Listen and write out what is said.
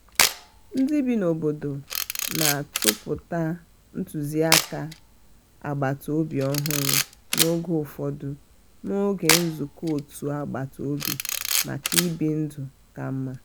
ndị bi n' obodo na-atụpụta ntụzịaka agbataobi ọhụrụ n'oge ufodu n'oge nzukọ òtù agbata obi maka ibi ndụ ka mma.